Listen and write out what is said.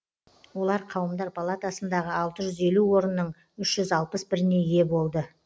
олар қауымдар палатасындағы алты жүз елу орынның үш жүз алпыс біріне ие болды